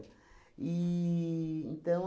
E então